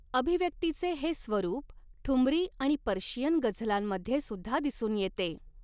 अभिव्यक्तीचे हे स्वरूप ठुमरी आणि पर्शियन गझलांमध्येसुद्धा दिसून येते.